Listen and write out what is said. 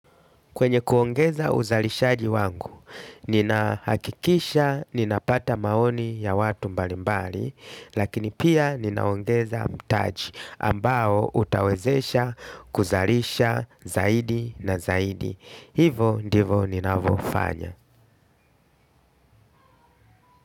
Kwenye kuongeza uzalishaji wangu, nina hakikisha ninapata maoni ya watu mbalimbali, lakini pia, ninaongeza mtaji ambao utawezesha kuzarisha zaidi na zaidi. Hivo, ndivo, ninavofanya.